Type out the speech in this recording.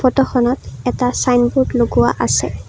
ফটোখনত এটা চাইনবোৰ্ড লগোৱা আছে।